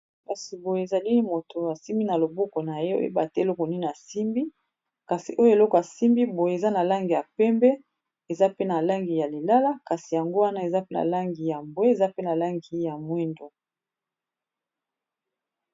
Kasi boye ezali mutu asimbi na loboko na ye eloko okoyeba te soki nini asimbi , eloko yango eza na langi ya pembe ,eza pe na langi ya lilala , eza pe na langi ya bwe eza pe na langi ya moyindo.